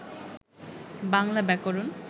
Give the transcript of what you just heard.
বাংলা ব্যাকরণ